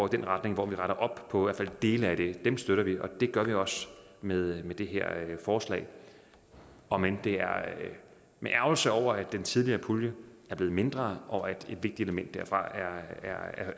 den retning hvor vi retter op på i hvert fald dele af det støtter vi og det gør vi også med det her forslag om end det er med ærgrelse over at den tidligere pulje er blevet mindre og at et vigtigt element derfra